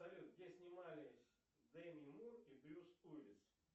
салют где снимались деми мур и брюс уиллис